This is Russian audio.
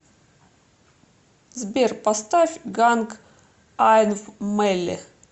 сбер поставь ганг айнв мэлли